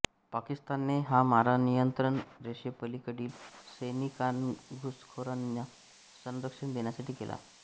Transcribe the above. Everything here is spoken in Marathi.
पाकिस्तानने हा मारा नियंत्रण रेषेपलीकडील सैनिकांनाघुसखोरांना संरक्षण देण्यासाठी केला